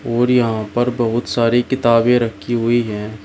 और यहां पर बहुत सारी किताबें रखी हुई है।